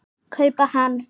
kaupa hann.